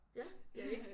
Ja ikke